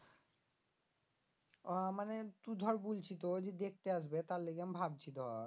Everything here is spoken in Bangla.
ও মানে তু ধর বুলছি তো যে দেখতে আসবে তার লিগে আমি ভাবছি ধর